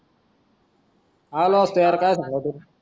आलो